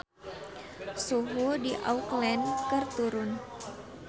Suhu di Auckland keur turun